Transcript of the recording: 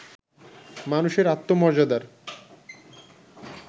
মানুষের আত্মমর্যাদার